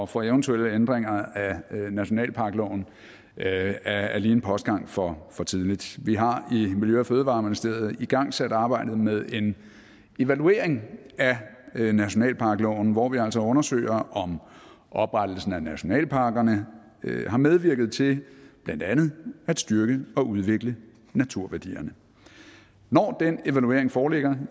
for eventuelle ændringer af nationalparkloven er en postgang for for tidligt vi har i miljø og fødevareministeriet igangsat arbejdet med en evaluering af nationalparkloven hvor vi altså undersøger om oprettelsen af nationalparkerne har medvirket til blandt andet at styrke og udvikle naturværdierne når den evaluering foreligger